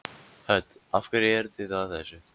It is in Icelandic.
Hödd: Af hverju eruð þið að þessu?